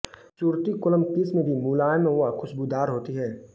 सुरती कोलम किस्म भी मुलायम व खुश्बूदार होती है